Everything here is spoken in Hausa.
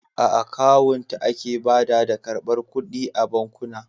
A kawunta ake bada da ƙarbar ƙuɗi a bankuna.